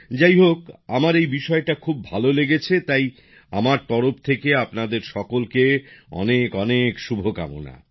যাই হোক আমার এই বিষয়টা খুব ভালো লেগেছে তাই আমার তরফ থেকে আপনাদের সকলকে অনেক অনেক শুভকামনা